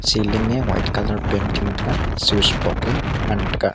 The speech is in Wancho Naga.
ceiling e white colour painting thaga switch box e ngantaga.